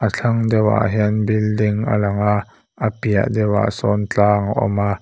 a thlang deuhah hian building a lang a a piah deuhah sawn tlang a awma--